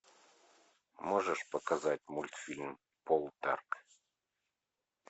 можешь показать мультфильм полдарк